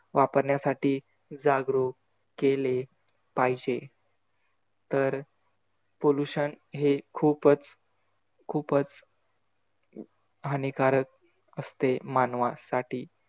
वापरण्यासाठी जागरूक केले पाहिजे तर pollution हे खूपच खूपच हानीकारक असते, मानवासाठी.